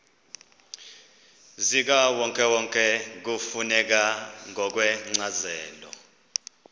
zikawonkewonke kufuneka ngokwencazelo